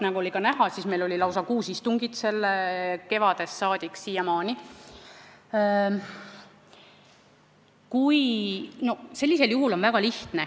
Nagu näha, meil on kevadest saadik siiamaani olnud lausa kuus istungit selle eelnõu teemal.